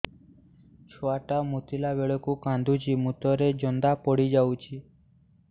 ଛୁଆ ଟା ମୁତିଲା ବେଳକୁ କାନ୍ଦୁଚି ମୁତ ରେ ଜନ୍ଦା ପଡ଼ି ଯାଉଛି